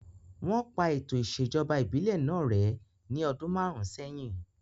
Wọ́n pa ètò ìṣèjọba ìbílẹ̀ náà rẹ́ ní ọdún márùn sẹ́yìn